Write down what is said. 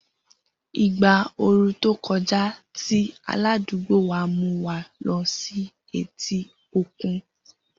Igba ooru to koja ti aladugbo wa mu wa lọ si eti okun.